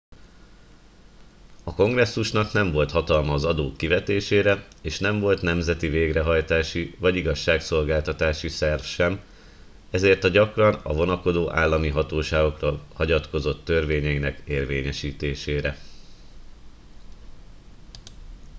a kongresszusnak nem volt hatalma az adók kivetésére és nem volt nemzeti végrehajtási vagy igazságszolgáltatási szerv sem ezért a gyakran a vonakodó állami hatóságokra hagyatkozott törvényeinek érvényesítésére